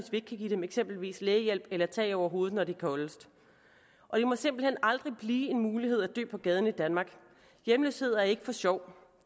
eksempelvis lægehjælp eller tag over hovedet når det er koldest det må simpelt hen aldrig blive en mulighed at dø på gaden i danmark hjemløshed er ikke for sjov